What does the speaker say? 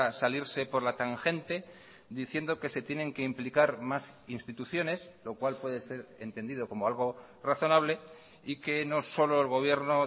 salirse por la tangente diciendo que se tienen que implicar más instituciones lo cual puede ser entendido como algo razonable y que no solo el gobierno